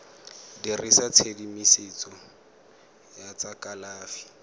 dirisa tshedimosetso ya tsa kalafi